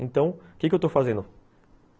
Então, o que eu estou fazendo?